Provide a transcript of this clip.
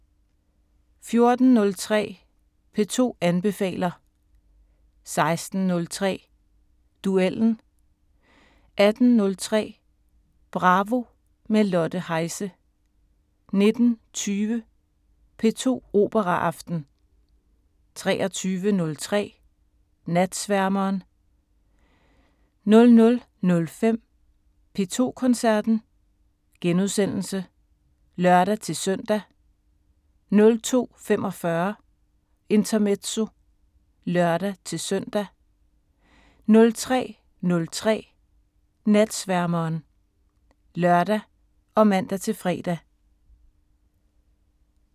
14:03: P2 anbefaler 16:03: Duellen 18:03: Bravo – med Lotte Heise 19:20: P2 Operaaften 23:03: Natsværmeren 00:05: P2 Koncerten *(lør-søn) 02:45: Intermezzo (lør-søn) 03:03: Natsværmeren (lør og man-fre)